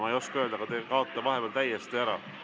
Ma ei oska öelda, milles on asi, aga te kaote vahepeal täiesti ära.